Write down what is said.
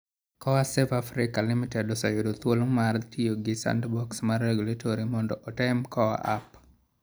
KOA Save Africa Limited oseyudo thuolo mar tiyo gi Sandbox mar Regulatory mondo otem KOA App.